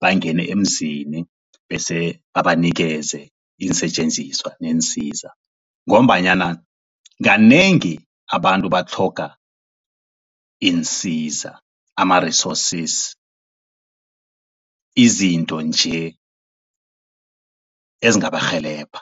bangene emzini bese babanikeze iinsetjenziswa neensiza, ngombanyana kanengi abantu batlhoga iinsiza ama-resources izinto nje ezingabarhelebha.